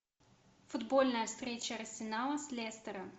футбольная встреча арсенала с лестером